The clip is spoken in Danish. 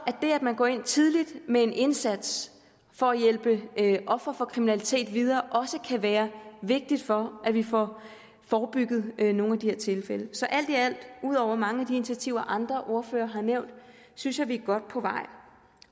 det at man går ind tidligt med en indsats for at hjælpe ofre for kriminalitet videre også kan være vigtigt for at vi får forebygget nogle af de her tilfælde så alt i alt ud over mange af de initiativer andre ordførere har nævnt synes jeg vi er godt på vej